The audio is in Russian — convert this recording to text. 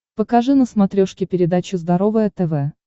покажи на смотрешке передачу здоровое тв